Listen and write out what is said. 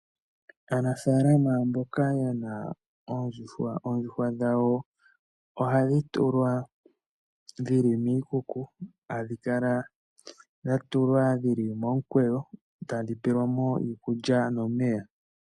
Aanafalama mboka yena oondjuhwa, oondjuhwa dhawo ohadhi tulwa dhili miikuku, hadhi kala dha tulwa dhili momukweyo, tadhi peyelwamo iikulya nomeya.